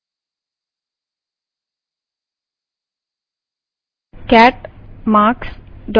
enter press करें